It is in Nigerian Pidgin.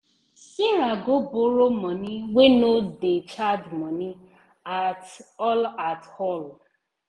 sarah go borrow money wey no dey charge money at-all at-all.